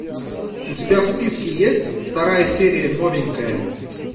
у тебя в списке есть вторая серия новенькая